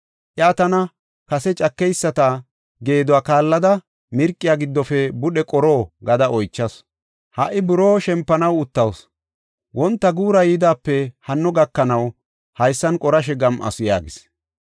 Iya tana, ‘Katha cakeyisata geeduwa kaallada mirqiya giddofe budhe qoro?’ gada oychasu. Ha77i buroo shempanaw uttawus; wonta guura yoodepe hano gakanaw haysan qorashe gam7asu” yaagis.